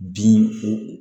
Bin fo